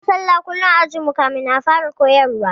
Muna sallah kullum ã ajin mu kafin a fara koyarwa.